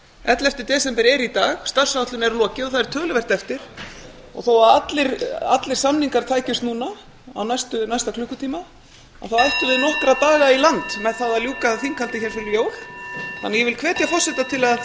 ellefta desember er í dag starfsáætlun er lokið og það er töluvert eftir þó að allir samningar tækjust núna á næsta klukkutíma ættum við nokkra daga í land með það að ljúka þinghaldi hér fyrir jól þannig að ég hvet forseta til að